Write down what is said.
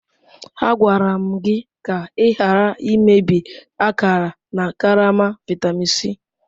Agwara m gị ka ị ghara imebi akara na karama vitamin C.